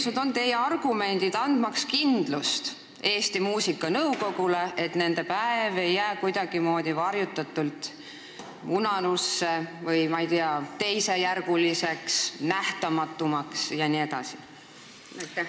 Millised on teie argumendid, andmaks Eesti Muusikanõukogule kindlust, et nende pika kultuuritraditsiooniga päev ei jää kuidagimoodi varju ega muutu, ma ei tea, teisejärguliseks või nähtamatumaks?